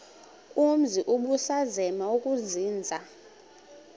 umzi ubusazema ukuzinza